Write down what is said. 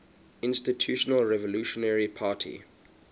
institutional revolutionary party